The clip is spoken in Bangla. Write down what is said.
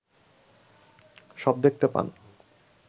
সব দেখতে পান